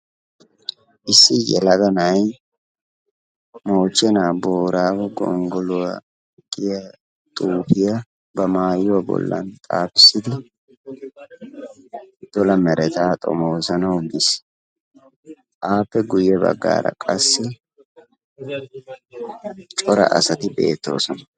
issi yelaga na'ay moochena boorago gongoluwa giya xuufiya ba maayuwa bolan xaafisidi dola meretaa xomoosanawu biis. appe guye bagaara qassi cora asati beetoodona.